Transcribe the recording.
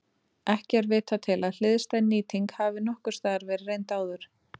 Ekki er vitað til að hliðstæð nýting hafi nokkurs staðar verið reynd áður.